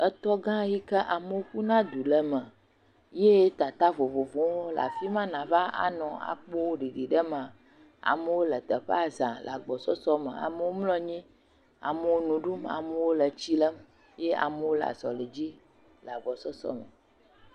Etɔgã yike amewo ƒuna du le me ye tata vovovowo hã le afi ma, nàva anɔ akpɔ ɖiɖiɖemea, amewo le teƒea za, amewo mlɔ anyi, amewo le nu ɖum, amewo le tsi lem, ye amewo le azɔli dzi le agbɔsɔsɔ me.